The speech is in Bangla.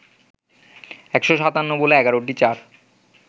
১৫৭ বলে ১১টি চার